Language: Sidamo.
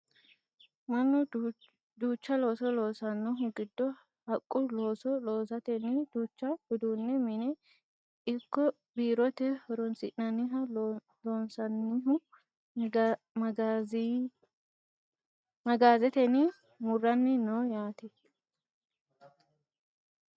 Mannu duucha looso loosanohu giddo haqqu looso loosatenni duucha uduunne mine ikko biirote horonsi'nanniha loosannohu magaazetenni muranni no yaate .